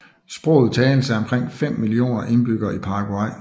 Sproget tales f omkring 5 millioner indbyggere i Paraguay